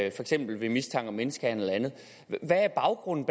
eksempel ved mistanke om menneskehandel og andet hvad er baggrunden